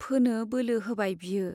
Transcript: फोनो बोलो होबाय बियो।